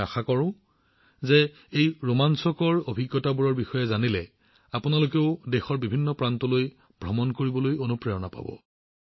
মই আশা কৰোঁ যে এই ৰোমাঞ্চকৰ অভিজ্ঞতাবোৰৰ বিষয়ে জানিবলৈ পোৱাৰ পিছত আপুনিও নিশ্চিতভাৱে দেশৰ বিভিন্ন প্ৰান্তলৈ ভ্ৰমণ কৰিবলৈ অনুপ্ৰাণিত হব